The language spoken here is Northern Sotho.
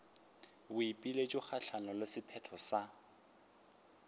boipiletšo kgahlanong le sephetho sa